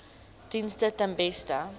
dienste ten beste